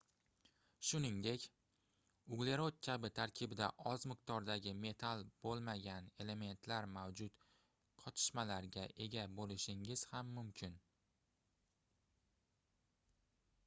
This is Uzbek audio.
shuningdek uglerod kabi tarkibida oz miqdordagi metall boʻlmagan elementlar mavjud qotishmalarga ega boʻlishingiz ham mumkin